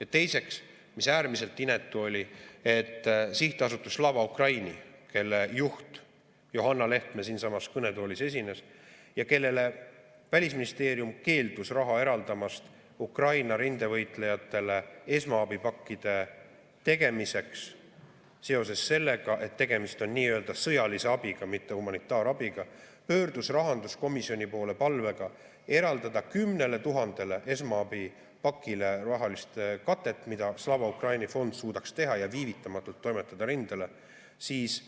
Ja teiseks, äärmiselt inetu oli, kui sihtasutus Slava Ukraini, kelle juht Johanna Lehtme siinsamas kõnetoolis esines ja kellele Välisministeerium keeldus raha eraldamast Ukraina rindevõitlejatele esmaabipakkide tegemiseks seoses sellega, et tegemist on sõjalise abiga, mitte humanitaarabiga, pöördus rahanduskomisjoni poole palvega eraldada 10 000 esmaabipakile rahalist katet, mida Slava Ukraini fond suudaks teha ja viivitamatult toimetada rindele, siis